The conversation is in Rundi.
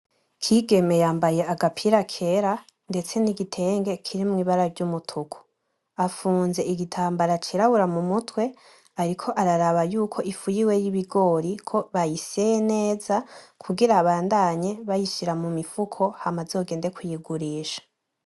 Kigeme yambaye agapira kera ndetse n'igitenge kiri mw'ibara ry'umutuku. Afunze igitambara cirabura mu mutwe ariko araraba yuko ifu yiwe y'ibigori ko bayiseye neza kugira abandanye bayishira mu mifuko hama azogende kuyigurisha.